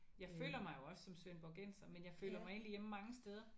Jeg føler mig jo også som svendborgenser men jeg føler mig egentlig hjemme mange steder